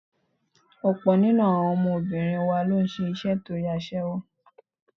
Ọ̀pọ̀ nínú àwọn ọmọbìnrin wa ló ń ṣe iṣẹ́ aṣẹ́wó nítorí owó.